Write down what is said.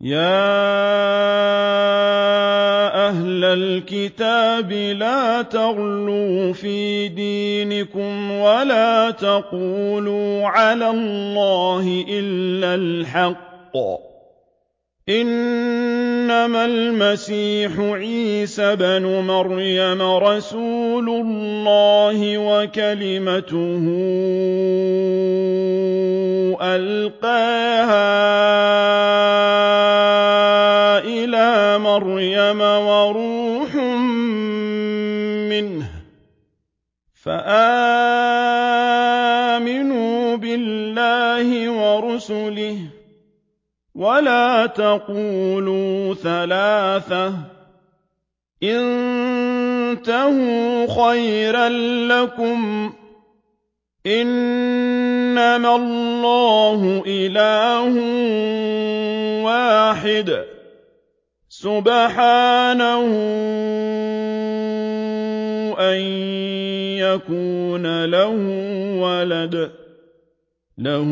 يَا أَهْلَ الْكِتَابِ لَا تَغْلُوا فِي دِينِكُمْ وَلَا تَقُولُوا عَلَى اللَّهِ إِلَّا الْحَقَّ ۚ إِنَّمَا الْمَسِيحُ عِيسَى ابْنُ مَرْيَمَ رَسُولُ اللَّهِ وَكَلِمَتُهُ أَلْقَاهَا إِلَىٰ مَرْيَمَ وَرُوحٌ مِّنْهُ ۖ فَآمِنُوا بِاللَّهِ وَرُسُلِهِ ۖ وَلَا تَقُولُوا ثَلَاثَةٌ ۚ انتَهُوا خَيْرًا لَّكُمْ ۚ إِنَّمَا اللَّهُ إِلَٰهٌ وَاحِدٌ ۖ سُبْحَانَهُ أَن يَكُونَ لَهُ وَلَدٌ ۘ لَّهُ